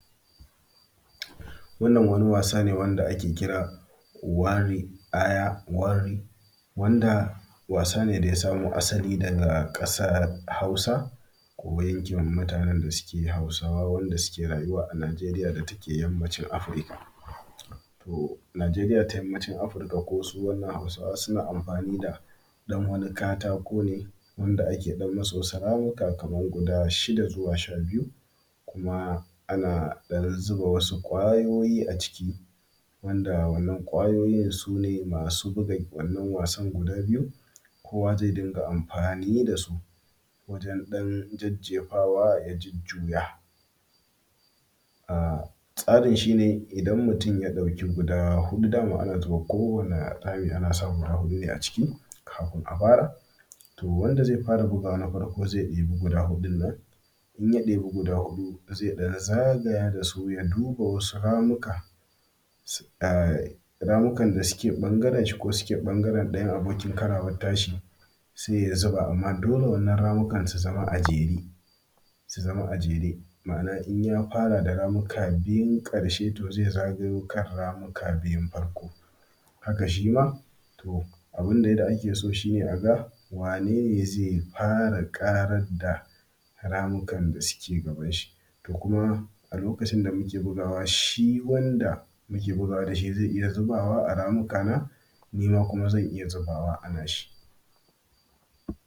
Wannan wani wasane wanda ake kira wari-ayaware. Wanda wasane daya samo asali, daga ƙasar hausa ko yankin mutanen dasuke hausawa, wa’inda suke rayuwa a Najeria datake yammaci Africa. To Najeria ta yammaci Africa, kosu wannan hausawa suna amfani da ɗan wani katakone, wanda ake ɗan musu wasu ramuka kamar guda shida zuwa sha biyu. Kuma ana zuba ɗan wasu kwayoyi aciki, wanda wannan kwayoyin sune, masu buga wannan wasan guda biyu. Kowa ze dunga amfani dasu wajen ɗan jejjefara ya jujjuya. A tsarin shine idan mutum ya ɗauki huɗu dama kowani rami anasa guda hudune aciki, kafun a fara. To wanda ze fara bugawa ze dibi guda hudunnan, inya ɗibi guda hudu ze ɗan zagaya da su ya duba wasu ramuka. Shi um ramukan dasuke bangaren shi, ko su bangaren ɗayan abokin karawan tashi Se ya zuba amma dole wananan ramukan su zama a jere, su zama a jere. Ma’ana inyafara da ramuka biyun karshe, to ze zagayo zuwa kan ramuka biyun farko. Haka shima, to abin dai da ake so shine aga wanene ze fara ƙarar da ramukan da suke gabanshi. To kuma alokacin damuke bugawa shi wanda muke bugawa dashi ze iya zubawa a ramuka nima kuma zan iya zubawa a nashi.